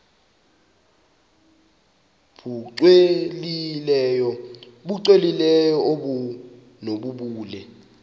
nbu cwengileyo obunobubele